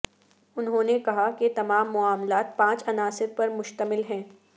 انہوں نے کہا کہ تمام معاملات پانچ عناصر پر مشتمل ہے